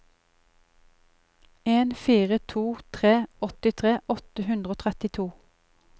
en fire to tre åttitre åtte hundre og trettito